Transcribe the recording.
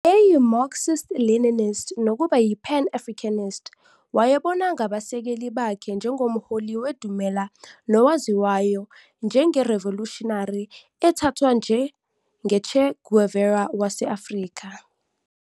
Wayeyi-Marxist Leninist nokuba yi-pan Africanist, wayebona ngabasekeli bakhe njengomholi wedumela nowaziwayo njengerivolushinary ethathwa njengo-Che Guevara wase-Afrika".